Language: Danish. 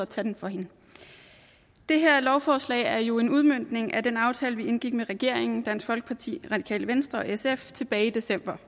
talen for hende det her lovforslag er jo en udmøntning af den aftale vi indgik med regeringen dansk folkeparti radikale venstre og sf tilbage i december